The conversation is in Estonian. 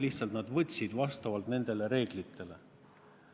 Lihtsalt eksam tehti vastavalt nendele reeglitele.